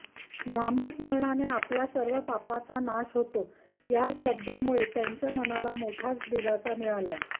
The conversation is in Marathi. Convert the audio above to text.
नामस्मरणाने आपल्या सर्व पापाचा नाश होतो या श्रद्धेमुळे त्यांच्या मनाला मोठाच दिलासा मिळाला